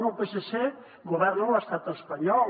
bé el psc governa a l’estat espanyol